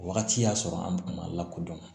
O wagati y'a sɔrɔ an ma lakodɔn